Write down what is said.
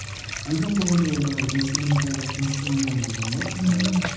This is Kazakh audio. альбом болғанда ол манағы инструментальдік инструментальный альбом ғой ммм